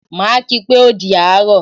Maa kii pé o di àárọ̀